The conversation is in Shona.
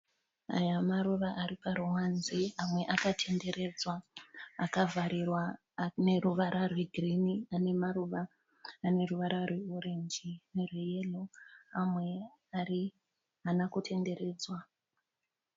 Aya maruva ari paruwanze amwe akatenderedzwa akavharirwa neruvara rwegirini ane maruva ane ruvara rweorenji nerweyero amwe haana kutenderedzwa.